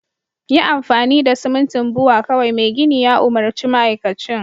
yi amfani da simintin Bua kawai Mai gini ya umurci ma'aikacin